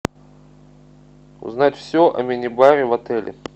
узнать все о минибаре в отеле